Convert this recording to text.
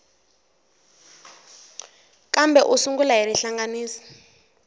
kambe u sungula hi rihlanganisi